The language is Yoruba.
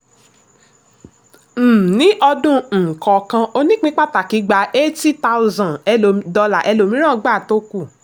um ní ọdún um kọọkan onípín pàtàkì gba eighty thousand dollars ẹlòmíràn gba tó kù.